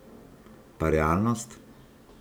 Pa realnost?